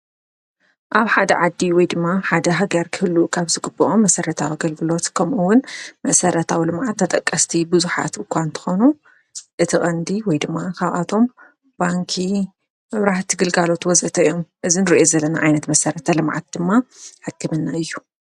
ኣብ ሓደ ዓዲ ወይ ድማ ሓደ ሃገር ክህሉ ኻብ ዝግበኦም መሠረታዊ ኣገልግሎት ከምኡ ውን መሠረታዊ ልምዓት ተጠቀስቲ ብዙሓት እኳ እንተኾኑ እቲ ቐንዲ ወይ ድማ ካብኣቶም ባንኪ፣ መብራህቲ ግልጋሎት ወዘተ እዮ፡፡ እዚ ንርእዮ ዘለና ዓይነት መሠረተ ልምዓት ድማ ሕክምና እዩ፡፡